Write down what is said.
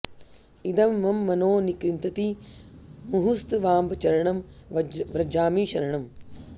इदं मम मनो निकृन्तति मुहुस्तवाम्ब चरणं व्रजामि शरणम्